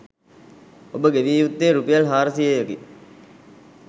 ඔබ ගෙවිය යුත්තේ රුපියල් හාරසියයකි.